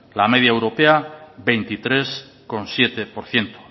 la media europea veintitrés coma siete por ciento